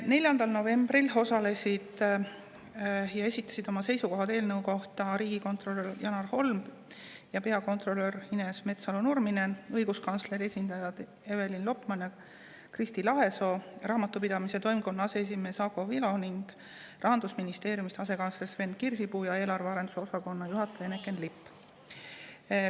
4. novembril osalesid ja esitasid oma seisukohad eelnõu kohta riigikontrolör Janar Holm ja peakontrolör Ines Metsalu‑Nurminen, õiguskantsleri esindajad Evelin Lopman ja Kristi Lahesoo, Raamatupidamise Toimkonna aseesimees Ago Vilu ning Rahandusministeeriumi asekantsler Sven Kirsipuu ja eelarve arenduse osakonna juhataja Eneken Lipp.